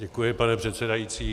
Děkuji, pane předsedající.